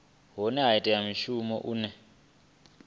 hana u ita mushumo une